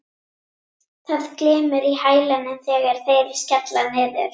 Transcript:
Það glymur í hælunum þegar þeir skella niður.